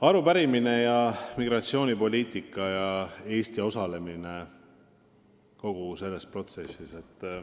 Arupärimine oli migratsioonipoliitika kohta ja Eesti osalemise kohta kogu selles protsessis.